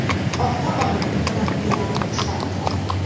Ota-ona murabbiylar uchrab turadi.